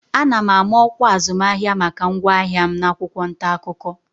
Ana m ama ọkwa azụmahịa maka ngwaahịa m n'akwụkwọ ntaakụkọ